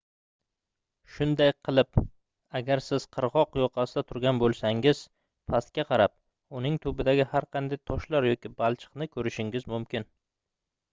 shunday qilib agar siz qirgʻoq yoqasida turgan boʻlsangiz pastga qarab uning tubidagi har qanday toshlar yoki balchiqni koʻrishingiz mumkin